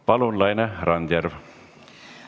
Palun, Laine Randjärv!